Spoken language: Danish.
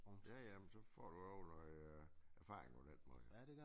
Ja ja men så får du også noget erfaring på den måde